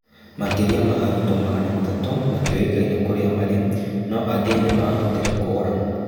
Makĩria ya arutwo magana matatũ matiũĩkaine kũrĩa marĩ, no angĩ nĩ mahotire kũra .